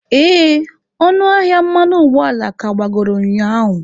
Ee, ọnụ ahịa mmanụ ụgbọala ka agbagoro ụnyaahụ.